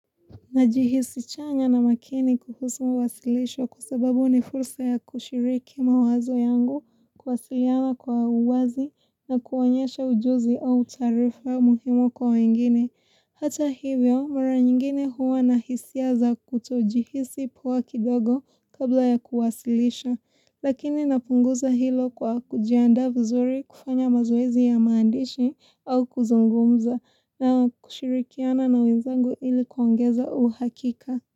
Najihisi chanya na makini kuhusu mwasilisho kusababu ni fursa ya kushiriki mawazo yangu kwasiliana kwa uwazi na kuonyesha ujuzi au taarifa muhimo kwa wengine. Hata hivyo, mara nyingine huwa nahisia za kutojihisi poa kidogo kabla ya kuwasilisha, lakini napunguza hilo kwa kujianda vuzuri kufanya mazoezi ya maandishi au kuzungumza na kushirikiana na wenzangu ilikuangeza uhakika.